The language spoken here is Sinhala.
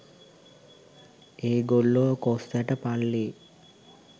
ඒගොල්ලො කොස් ඇට පල්ලෙ